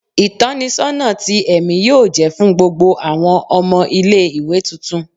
Itọnisọna ti ẹmi yoo jẹ fun gbogbo awọn ọmọ ile-iwe tuntun